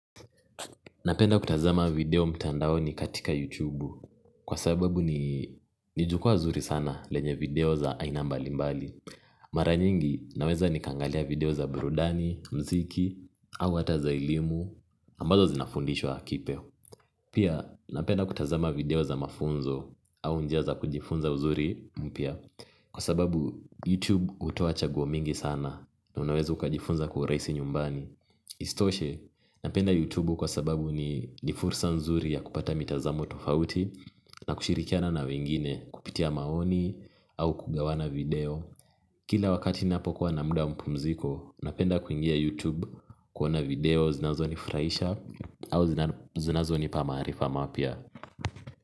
Napenda kutazama video mtandaoni katika YouTube kwa sababu ni jukwa zuri sana lenye video za aina mbali mbali. Mara nyingi naweza nikaangalia video za burudani, muziki au hata za elimu ambazo zinafundishwa pia napenda kutazama video za mafunzo au njia za kujifunza uzuri mpya kwa sababu YouTube hutoa chaguo mingi sana na unaweza ukajifunza kwa urahisi nyumbani. Isitoshe napenda YouTube kwa sababu ni fursa nzuri ya kupata mitazamo tofauti na kushirikiana na wengine kupitia maoni au kugawana video kila wakati ninapokuwa na muda wa mapumziko napenda kuingia YouTube kuona video zinazonifurahisha au zinazonipa maarifa mapya.